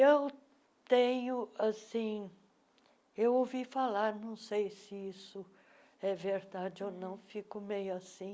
Eu tenho assim, eu ouvi falar, não sei se isso é verdade ou não, fico meio assim,